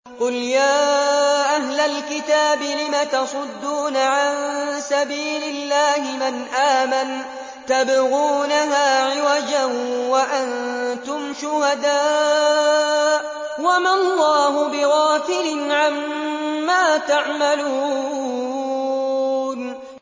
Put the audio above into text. قُلْ يَا أَهْلَ الْكِتَابِ لِمَ تَصُدُّونَ عَن سَبِيلِ اللَّهِ مَنْ آمَنَ تَبْغُونَهَا عِوَجًا وَأَنتُمْ شُهَدَاءُ ۗ وَمَا اللَّهُ بِغَافِلٍ عَمَّا تَعْمَلُونَ